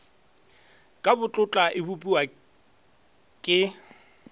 ka botlotla e bopiwa ke